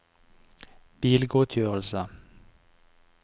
bilgodtgjørelse